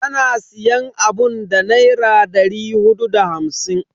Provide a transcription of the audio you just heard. Ana siyan abun da Naira dari hudu da hamsin.